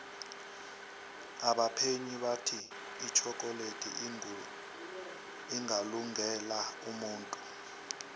abaphenyi bathi itjhokoledi ingalunge la umuntu